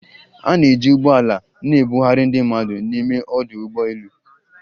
A na-eji ụgbọ ala na-ebugharị ndị mmadụ n'ime ọdụ ụgbọ elu